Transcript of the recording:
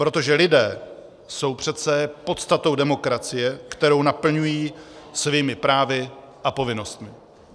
Protože lidé jsou přece podstatou demokracie, kterou naplňují svými právy a povinnostmi.